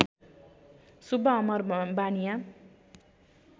Subba Amar Baniya